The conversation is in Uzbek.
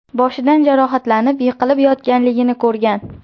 boshidan jarohatlanib, yiqilib yotganligini ko‘rgan.